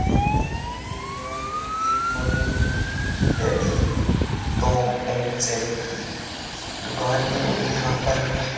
ये एक mummy daddy Tom and Sherry की दुकान है और यहां पर --